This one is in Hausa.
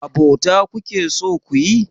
Abota kuke so kuyi?